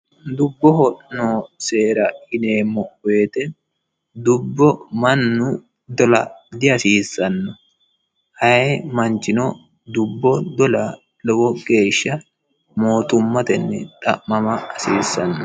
Dubboho noo seera yinnemo woyite dubbo mannu Dola dihasisanno ayii manichino dubbo Dola lowo geeshsha mootumatteni xa'mama hasisanno